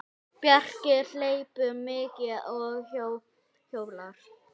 Bjarki hleypur mikið og hjólar.